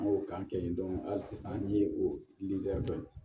An b'o k'an kɛ yen hali sisan an ye o litɛri kɛ